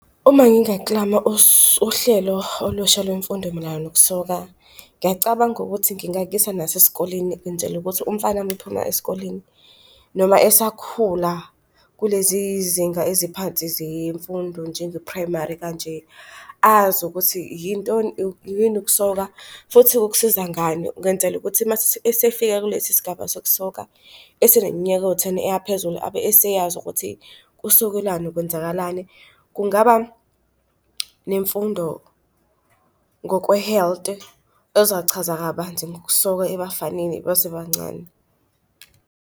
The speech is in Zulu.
Uma ngingaklama uhlelo olusha lwemfundo mayelana nokusoka, ngiyacabanga ukuthi ngingakuyisa nasesikoleni ngenzela ukuthi umfana mephuma esikoleni noma esakhula kulezi zinga eziphansi zemfundo njenge-primary kanje, azi ukuthi yintoni yini ukusoka futhi kukusiza ngani, ngenzela ukuthi uma esefika kulesi sigaba sokusoka eseneminyaka ewu-ten eya phezulu, abe eseyazi ukuthi kusokwelani, kwenzakalani. Kungaba nemfundo ngokwe-health ezochaza kabanzi ngokusoka ebafanini basebancane.